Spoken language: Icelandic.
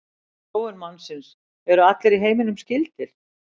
Þróun mannsins Eru allir í heiminum skyldir?